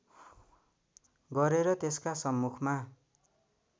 गरेर त्यसका सम्मुखमा